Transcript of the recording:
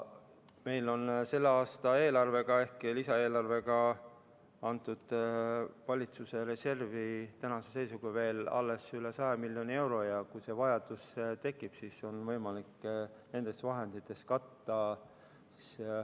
Meil on selle aasta lisaeelarvega valitsuse reservi antust tänase seisuga alles veel üle 100 miljoni euro ja kui vajadus tekib, siis on võimalik see nendest vahenditest katta.